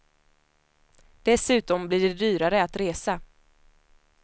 Dessutom blir det dyrare att resa.